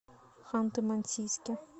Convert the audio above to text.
ханты мансийске